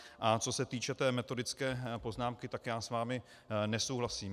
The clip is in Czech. A co se týče té metodicky poznámky, tak já s vámi nesouhlasím.